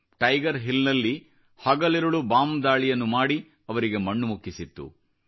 tiger ಹಿಲ್ನಮಲ್ಲಿ ಹಗಲಿರುಳು bomb ದಾಳಿಯನ್ನು ಮಾಡಿ ಅವರಿಗೆ ಮಣ್ಣು ಮುಕ್ಕಿಸಿತ್ತು